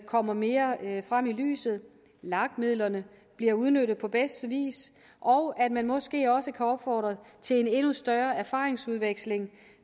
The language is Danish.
kommer mere frem i lyset at lag midlerne bliver udnyttet på bedste vis og at man måske også kan opfordre til en endnu større erfaringsudveksling